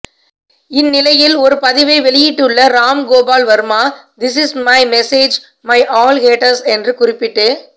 இந்நிலையில் ஒரு பதிவை வெளியிட்டுள்ள Ramgopal Varma this is my message my all haters என்று குறிப்பிட்டு